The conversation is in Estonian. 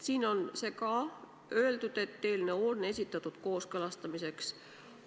Siin on öeldud, et eelnõu on esitatud kooskõlastamiseks.